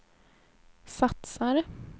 satsar